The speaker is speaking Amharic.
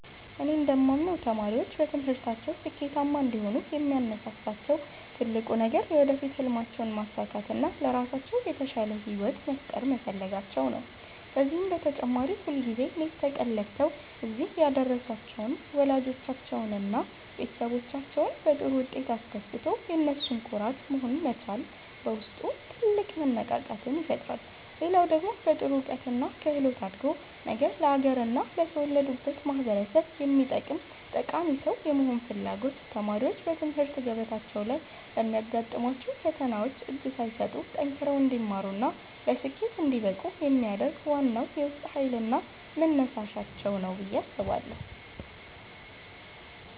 እኔ እንደማምነው ተማሪዎች በትምህርታቸው ስኬታማ እንዲሆኑ የሚያነሳሳቸው ትልቁ ነገር የወደፊት ሕልማቸውን ማሳካትና ለራሳቸው የተሻለ ሕይወት መፍጠር መፈለጋቸው ነው። ከዚህም በተጨማሪ ሁልጊዜ ሌት ከቀን ለፍተው እዚህ ያደረሷቸውን ወላጆቻቸውንና ቤተሰቦቻቸውን በጥሩ ውጤት አስደስቶ የነሱ ኩራት መሆን መቻል በውስጥ ትልቅ መነቃቃትን ይፈጥራል። ሌላው ደግሞ በጥሩ እውቀትና ክህሎት አድጎ ነገ ለአገርና ለተወለዱበት ማኅበረሰብ የሚጠቅም ጠቃሚ ሰው የመሆን ፍላጎት ተማሪዎች በትምህርት ገበታቸው ላይ ለሚያጋጥሟቸው ፈተናዎች እጅ ሳይሰጡ ጠንክረው እንዲማሩና ለስኬት እንዲበቁ የሚያደርግ ዋናው የውስጥ ኃይልና መነሳሻቸው ነው ብዬ አስባለሁ።